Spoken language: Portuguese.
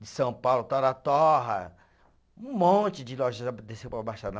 de São Paulo, Torra-torra, um monte de loja já desceu para a Baixada.